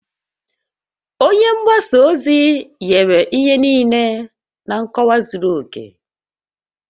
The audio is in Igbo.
Onye mgbasa ozi nyere ihe niile na nkọwa zuru oke